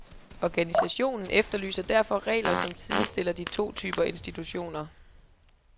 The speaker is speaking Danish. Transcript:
Organisationen efterlyser derfor regler som sidestiller de to typer institutioner.